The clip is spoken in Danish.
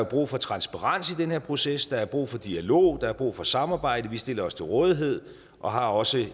brug for transparens i den her proces der er brug for dialog der er brug for samarbejde og vi stiller os til rådighed og har også